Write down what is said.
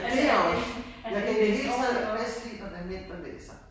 Ja det jeg også! Jeg kan i det hele taget bedst lide, når det er mænd, der læser